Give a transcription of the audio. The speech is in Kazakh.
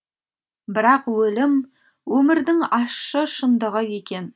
бірақ өлім өмірдің ащы шындығы екен